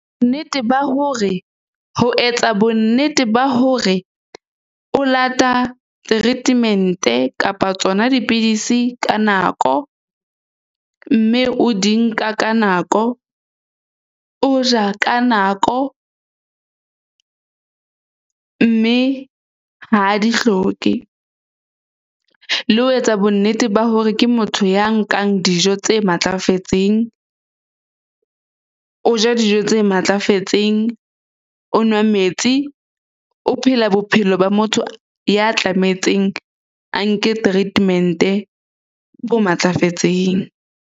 Nnete ba hore ho etsa bo nnete ba hore o lata treatment-e kapa tsona dipidisi ka nako. Mme o di nka ka nako. O ja ka nako mme ha di hloke le ho etsa bo nnete ba hore ke motho ya nkang dijo tse matlafetseng. O ja dijo tse matlafetseng, o nwa metsi, o phela bophelo ba motho ya tlametseng a nke treatment-e bo matlafetseng.